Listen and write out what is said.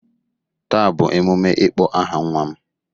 Taa bụ emume ịkpọ aha nwa m.